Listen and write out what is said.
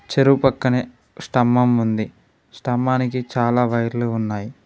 చెరువు పక్కనే స్తంభం ఉంది స్తంభానికి చాలా వైర్లు ఉన్నాయి.